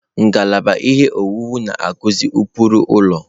Ngalaba ihe owuwu na-akụzi ụkpụrụ ụlọ.